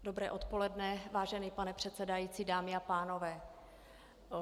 Dobré odpoledne, vážený pane předsedající, dámy a pánové.